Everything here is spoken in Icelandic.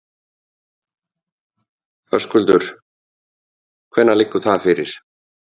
Höskuldur: Hvenær liggur það fyrir?